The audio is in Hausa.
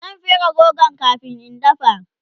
zan fere rogon kamin in dafa